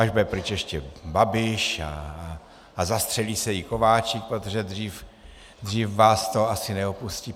Až bude pryč ještě Babiš a zastřelí se i Kováčik, protože dřív vás to asi neopustí.